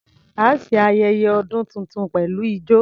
A ṣe ayẹyẹ ọdún tuntun pẹ̀lú ijọ.